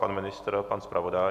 Pan ministr, pan zpravodaj?